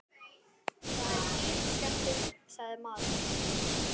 Það er dýr skemmtun, sagði maðurinn.